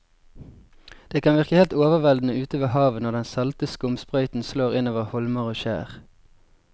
Det kan virke helt overveldende ute ved havet når den salte skumsprøyten slår innover holmer og skjær.